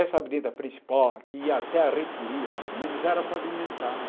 Essa avenida principal, que ia até a reitoria, mais ou menos, era pavimentada.